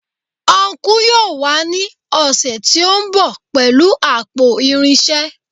Ọnkú yóò wá ní ọ̀sẹ̀ tí ó ń bọ̀ pẹ̀lú àpò irinṣẹ́